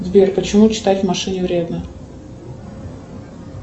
сбер почему читать в машине вредно